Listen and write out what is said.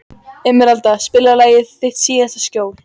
Emerald, spilaðu lagið „Þitt síðasta skjól“.